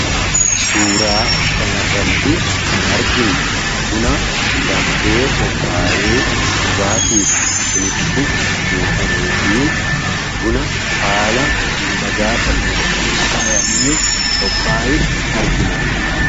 suuraa kan irratti kan arginu buna danfee qophaayee dhugaatiif sinitti buufame fi buna haala midhagaa ta'een akaayamee qophaa argina